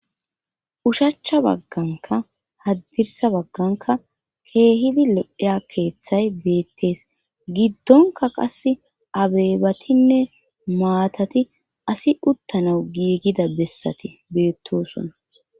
ushachcha bagganka haddirsa bagganka keehidi lodheya keeththay beettees giddonka qass abeebatinne maatati asi uttanau giigida bessati beettosona